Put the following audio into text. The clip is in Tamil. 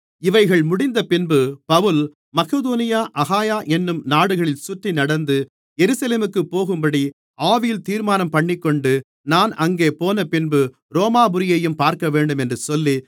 இவைகள் முடிந்தபின்பு பவுல் மக்கெதோனியா அகாயா என்னும் நாடுகளில் சுற்றி நடந்து எருசலேமுக்குப் போகும்படி ஆவியில் தீர்மானம்பண்ணிக்கொண்டு நான் அங்கே போனபின்பு ரோமாபுரியையும் பார்க்கவேண்டும் என்று சொல்லி